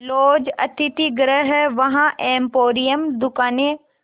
laws अतिथिगृह हैं वहाँ एम्पोरियम दुकानें